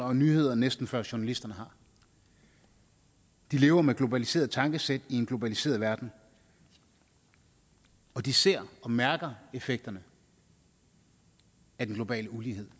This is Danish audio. og nyheder næsten før journalisterne har de lever med et globaliseret tankesæt i en globaliseret verden og de ser og mærker effekterne af den globale ulighed